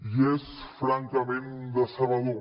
i és francament decebedor